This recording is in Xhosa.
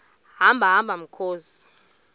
hamba hamba mkhozi